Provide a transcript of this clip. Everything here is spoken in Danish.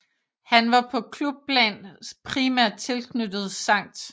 Han var på klubplan primært tilknyttet St